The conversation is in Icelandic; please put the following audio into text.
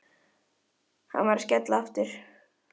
Og skrifar hjá þér hvern eyri sem þú lætur úti?